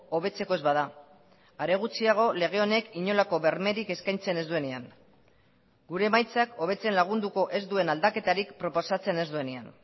hobetzeko ez bada are gutxiago lege honek inolako bermerik eskaintzen ez duenean gure emaitzak hobetzen lagunduko ez duen aldaketarik proposatzen ez duenean